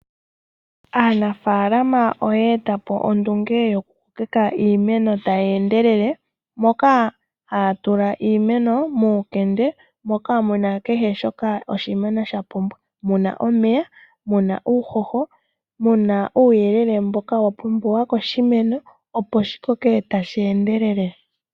Aanafaalama oyeetapo ondunge yokutota iimeno tayi endelele, moka haya tula iimeno muukende, moka muna kehe shoka oshimeno shapumbwa. Muna omeya, muna uuhoho, muna uuyelele mboka wapumbiwa koshimeno opo wukoke tawu endelele.